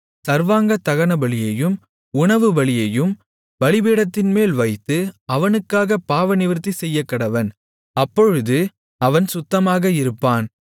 சர்வாங்கதகனபலியையும் உணவுபலியையும் பலிபீடத்தின்மேல் வைத்து அவனுக்காகப் பாவநிவிர்த்தி செய்யக்கடவன் அப்பொழுது அவன் சுத்தமாக இருப்பான்